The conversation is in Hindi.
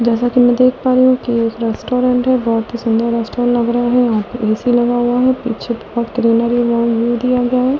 जैसा कि मैं देख पा रही हूं कि एक रेस्टोरेंट है बहुत ही सुंदर रेस्टोरेंट लग रहा है सी लगा हुआ है पीछे थोड़ा क्रीनरी व्यू दिया गया है।